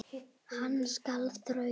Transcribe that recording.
Hann skal þrauka.